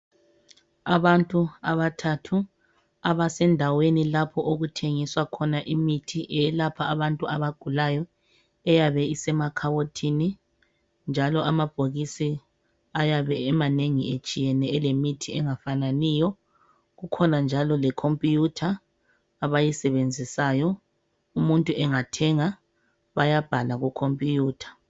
Abantu abathathu abasendaweni lapho okuthengiswa khona imithi eyalapha abantu abagulayo eyabe isemakhabothini njalo amabhokisi ayabe emanengi etshiyene elemithi engafananiyo. Kukhona njalo lekhompuyutha abayisebenzisayo. Umuntu engathenga bayabhala kukhompuyutha.